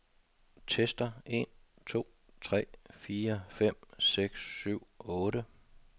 Tester en to tre fire fem seks syv otte.